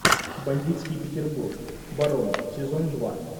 бандитский петербург барон сезон два